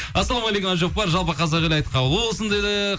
ассалаумағалейкум әбдіжаппар жалпы қазақ елі айт қабыл болсын дейді